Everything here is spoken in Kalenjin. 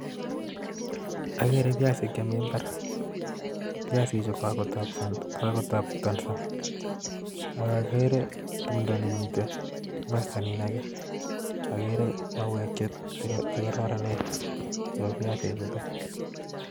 Akere biasik Chee Mii ibaar ,biasik chuu ko kakotabtanso ak akere tumdo nee mitei imasta niin akee akere mauek chee kararanen chebo biasik chutok